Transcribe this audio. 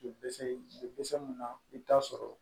mun na i bɛ t'a sɔrɔ